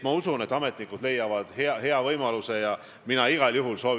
Ma arvan, et kui sõna on vaba, siis ta on vaba kõigi jaoks.